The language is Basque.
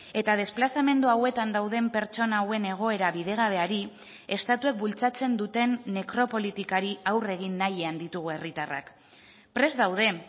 eta desplazamendu hauetan dauden pertsona hauen egoera bidegabeari estatuek bultzatzen duten nekropolitikari aurre egin nahian ditugu herritarrak prest daude